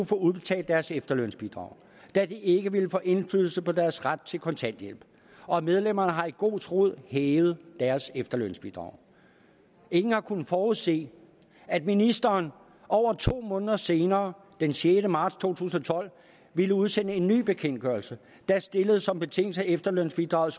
få udbetalt deres efterlønsbidrag da det ikke vil få indflydelse på deres ret til kontanthjælp medlemmerne har i god tro hævet deres efterlønsbidrag ingen har kunnet forudse at ministeren over to måneder senere den sjette marts to tusind og tolv ville udsende en ny bekendtgørelse der stiller som betingelse at efterlønsbidraget